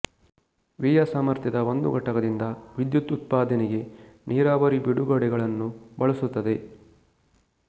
ವಿಯ ಸಾಮರ್ಥ್ಯದ ಒಂದು ಘಟಕದಿಂದ ವಿದ್ಯುತ್ ಉತ್ಪಾದನೆಗೆ ನೀರಾವರಿ ಬಿಡುಗಡೆಗಳನ್ನು ಬಳಸುತ್ತದೆ